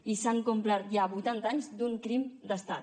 i s’han complert ja vuitanta anys d’un crim d’estat